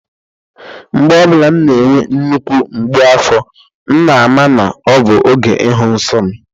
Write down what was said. Mgbe ọ bụla na-enwe nnukwu mgbu afọ m na-ama na ọ bụ oge ihu nsọ m